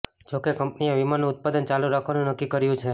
જો કે કંપનીએ વિમાનનું ઉત્પાદન ચાલુ રાખવાનું નક્કી કર્યું છે